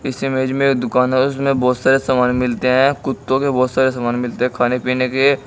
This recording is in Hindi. इस इमेज में दुकान है। उसमें बोहोत सारे सामान मिलते हैं। कुत्तों के बोहोत सारे सामान मिलते हैं खाने पीने के।